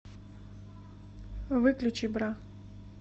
выключи бра